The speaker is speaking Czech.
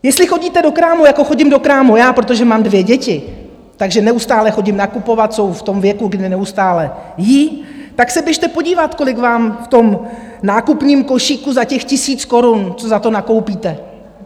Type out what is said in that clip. Jestli chodíte do krámu, jako chodím do krámu já, protože mám dvě děti, takže neustále chodím nakupovat, jsou v tom věku, kdy neustále jedí, tak se běžte podívat, kolik vám v tom nákupním košíku za těch tisíc korun - co za to nakoupíte.